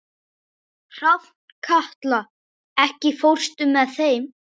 Hrafnkatla, ekki fórstu með þeim?